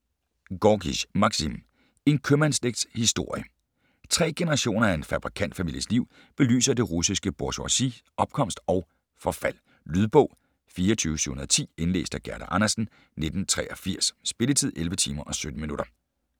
Gorkij, Maksim: En købmandsslægts historie Tre generationer af en fabrikantfamilies liv belyser det russiske bourgeoisis opkomst og forfald. Lydbog 24710 Indlæst af Gerda Andersen, 1983. Spilletid: 11 timer, 17 minutter.